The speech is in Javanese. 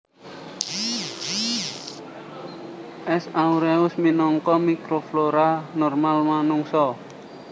S aureus minangka mikroflora normal manungsa